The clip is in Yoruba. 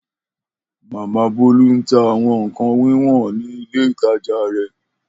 Mama Bolu n ta awọn nkan wiwọn ni ile itaja rẹ